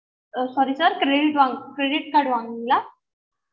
ah sorry sir credit credit card வாங்குனிங்களா